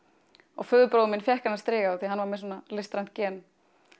og föðurbróðir minn fékk þennan striga því hann var með listræn gen